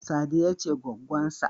Sadiya ce goggonsa.